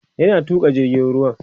yana Tuka jirgin ruwan